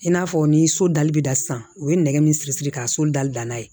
I n'a fɔ ni so dali bɛ da sisan u ye nɛgɛ min siri siri ka so dali danna ye